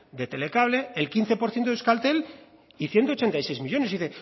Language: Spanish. de telecable el quince por ciento de euskaltel y ciento ochenta y seis millónes y